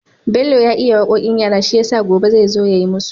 Bello ya iya waƙoƙin yara shiyasa gobe zai zo yayi musu